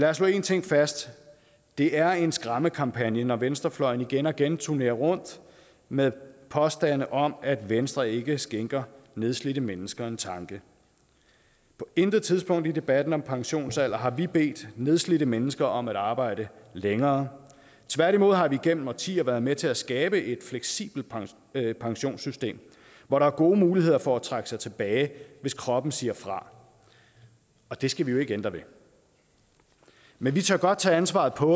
os slå én ting fast det er en skræmmekampagne når venstrefløjen igen og igen turnerer rundt med påstande om at venstre ikke skænker nedslidte mennesker en tanke på intet tidspunkt i debatten om pensionsalder har vi bedt nedslidte mennesker om at arbejde længere tværtimod har vi gennem årtier været med til at skabe et fleksibelt pensionssystem hvor der er gode muligheder for at trække sig tilbage hvis kroppen siger fra og det skal vi jo ikke ændre ved men vi tør godt tage ansvaret på